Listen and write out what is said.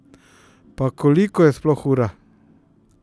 Pa, koliko je sploh ura?